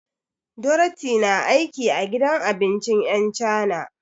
Dorathy na aiki a gidan abincin 'yan cana.